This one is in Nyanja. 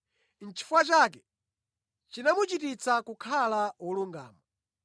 Nʼchifukwa chake “chinamuchititsa kukhala wolungama.”